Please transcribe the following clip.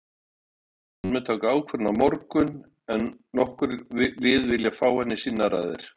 Hann mun taka ákvörðun á morgun en nokkur lið vilja fá hann í sínar raðir.